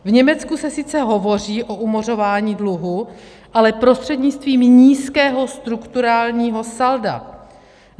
V Německu se sice hovoří o umořování dluhů, ale prostřednictvím nízkého strukturálního salda.